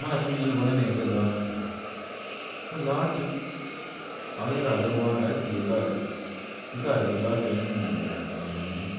Mara chumbeni nete logok chu. Anan rahisi taret en logok chu en somanet.